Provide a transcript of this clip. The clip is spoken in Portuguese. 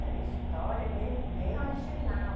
Na história mesmo, bem original.